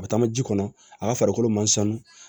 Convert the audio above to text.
A bɛ taa maji kɔnɔ a ka farikolo ma sanu